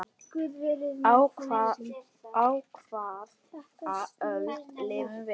Á hvaða öld lifum við?